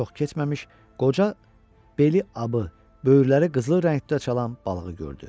Çox keçməmiş qoca beli abı, böyürləri qızılı rəngdə çalan balığı gördü.